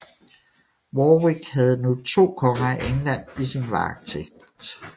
Warwick havde nu to konger af England i sin varetægt